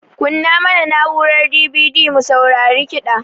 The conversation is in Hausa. Kunna mana na'urar DVD mu saurari kida